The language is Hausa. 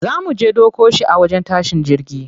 Za muje ɗauko shi a wajen tashin jirgi.